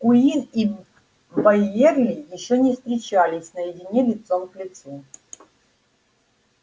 куинн и байерли ещё не встречались наедине лицом к лицу